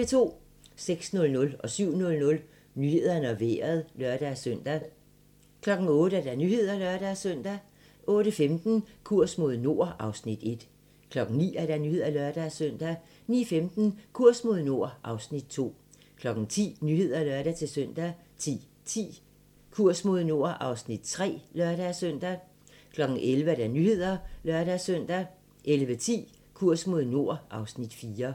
06:00: Nyhederne og Vejret (lør-søn) 07:00: Nyhederne og Vejret (lør-søn) 08:00: Nyhederne (lør-søn) 08:15: Kurs mod nord (Afs. 1) 09:00: Nyhederne (lør-søn) 09:15: Kurs mod nord (Afs. 2) 10:00: Nyhederne (lør-søn) 10:10: Kurs mod nord (Afs. 3)(lør-søn) 11:00: Nyhederne (lør-søn) 11:10: Kurs mod nord (Afs. 4)